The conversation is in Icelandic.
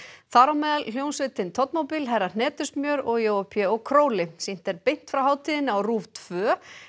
þar á meðal hljómsveitin herra hnetusmjör og Jói Pé Króli sýnt er beint frá hátíðinni á RÚV tvö